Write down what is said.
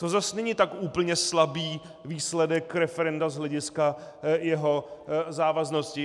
To zas není tak úplně slabý výsledek referenda z hlediska jeho závaznosti.